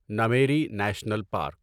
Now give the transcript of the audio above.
Nameri national park